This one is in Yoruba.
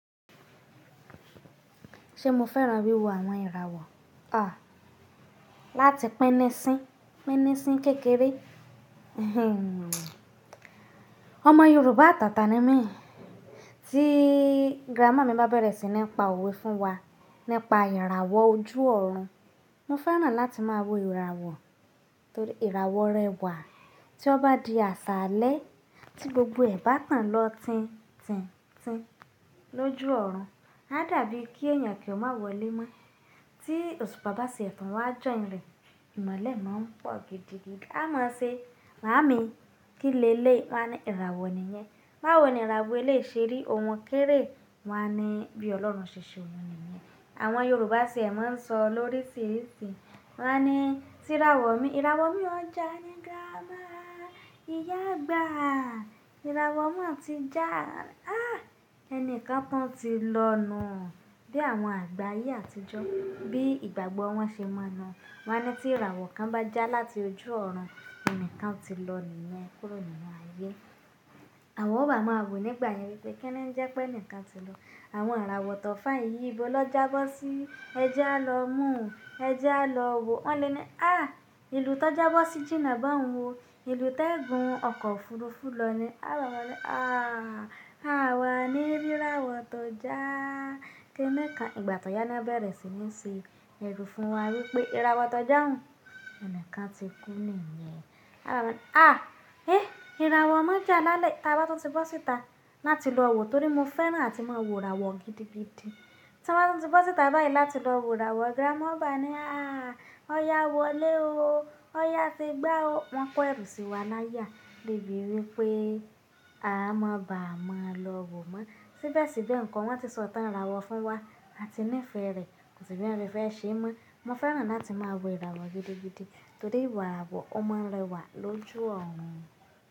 Ṣe mo fẹ́ràn wíwo àwọn ìràwọ̀? À, láti pínnísín, pínnísín kékeré. Ọmọ Yorùbá àtàtà ni mí. Tí grammar mi bá bẹ̀rẹ̀ sí ní pa òwe fún wa, nípa ìràwọ̀ ojú ọ̀run, mo fẹ́ràn láti máa wo ìràwọ̀. Torí ìràwọ̀ rẹwà. Tí ó bá di àṣálẹ́, tí gbogbo ẹ̀ bá tàn lọ tin, tin, tin lójú ọ̀run, á dàbí kí èèyàn kí ó má wọlé mọ́. Tí òṣùpá bá tiẹ̀ tún, wá á jọ́hin rẹ̀. Ìmọ́lẹ̀ máa ń pọ̀ gidigidi. A máa ṣe, "Màámi, kí lẹ́lé?" Wọ́n á ní, "Ìràwọ̀ nìyẹn." Báwo ni ìràwọ̀ eléyìí ṣe rí, ohun kéré. Wọ́n á ní, "Bí Ọlọ́run ṣe ṣe ohun nìyẹn." Àwọn Yorùbá sì máa ń sọ lóríṣiríṣi. Wọ́n á ní, "Tí ìràwọ̀ mi, ìràwọ̀ mi ọ́ jà ní grammar." "Ìyá àgbà, ìràwọ̀ mà ti já." "Á, ẹnìkan tún ti lọ nù hán." Bí àwọn àgbà ayé àtijọ́, bí ìgbàgbọ́ wọn ṣe mọ nuu. Wọ́n á ní, "Tí ìràwọ̀ kan bá já láti ojú ọ̀run, ẹnìkan ti lọ nìyẹn kúrò nínú ayé." Àwọn ọba máa wò nígbà yẹn wípé kíni ẹ jẹ́ pé ẹnìkan ti lọ. Àwọn àràwọ̀ tọ̀fain yíi ibo lọ jábọ́ sí. Ẹ jẹ́ a lọ mú, ẹ jẹ́ a lọ wò. Wọ́n lè ní, "Á, ìlú tó jábọ́ sí jìnnà bọ́un o. Ìlú tó ń gun ọkọ̀ òfuurufú lọ ni." Àwọn ọba ní, "Àà, àwa ní rí ìràwọ̀ tó já." Kíni kí àwọn ìgbà tó yá náà bẹ̀rẹ̀ sí ní se ẹrú fún wa wípé ìràwọ̀ tó jà hán, ẹnìkan ti kú nìyẹn. Àwọn ọba ní, "À, eh, ìràwọ̀ náà jà lálẹ́, ta bá tún ti bọ́ síta láti lọ wò?" Torí mo fẹ́ràn láti máa wo ìràwọ̀ gidigidi. Tí wọ́n bá tún ti bọ́ síta báyìí láti lọ wo ìràwọ̀, grammar bá ní, "Àà, ọ̀yá wọlé o. Ọ̀yá ti gbá o." Wọ́n kó ẹrú sí wa l'áya lèbé wípé, "À má bá a má lọ wò mọ́." Síbẹ̀ síbẹ̀ nǹkan wọ́n ti sọ tán ìràwọ̀ fún wa, a ti nífẹ̀ẹ́ rẹ̀, kò sì bí n rẹ fẹ́ ṣe mọ́. Mo fẹ́ràn láti máa wo ìràwọ̀ gidigidi torí ìràwọ̀ ó máa ń rẹwà lójú ọ̀run.